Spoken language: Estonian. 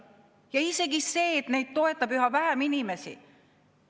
isegi see, et neid toetab üha vähem inimesi.